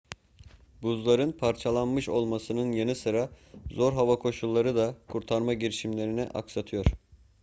buzların parçalanmış olmasının yanı sıra zor hava koşulları da kurtarma girişimlerini aksatıyor